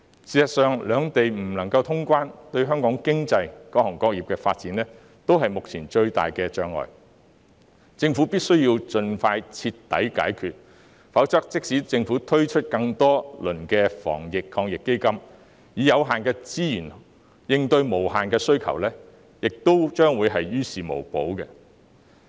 事實上，兩地不能通關，對香港經濟、各行各業的發展均是目前最大的障礙，政府必須盡快徹底解決，否則即使政府推出更多輪的防疫抗疫基金，以有限資源應對無限需求，也於事無補。